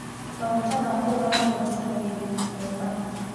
Maguta ma kũruga mathondekagĩrwo Mombasa.